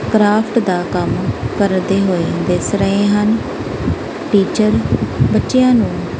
Craft ਦਾ ਕੰਮ ਕਰਦੇ ਹੋਏ ਦਿਸ ਰਹੇ ਹਨ ਟੀਚਰ ਬੱਚਿਆਂ ਨੂੰ।